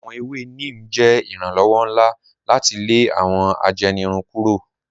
Awọn èwè Neem jẹ iranlọwọ̀ nlá láti lè awọn àjẹ́nìrùn kúrò.